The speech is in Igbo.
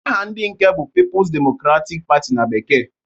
Aha ndị nke bụ Pipus Demokratik Patị na bekee.